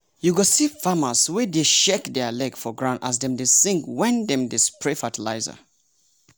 you go see farmers wey dey shake their leg for ground as dem dey sing wen dem dey spray fertilizer.